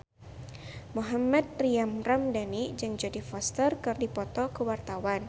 Mohammad Tria Ramadhani jeung Jodie Foster keur dipoto ku wartawan